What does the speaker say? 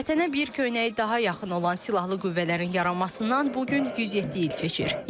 Vətənə bir köynəyi daha yaxın olan silahlı qüvvələrin yaranmasından bu gün 107 il keçir.